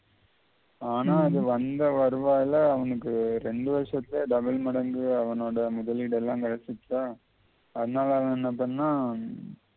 ஆனா அது வந்த வருவாயில அவனுக்கு ரெண்டு வருஷத்திலே double மடங்கு அவனோட முதலீடெல்லாம் அதனால அவன் என்ன பண்ணா